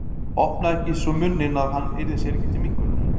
Opnaði ekki svo munninn að hann yrði sér ekki til minnkunar.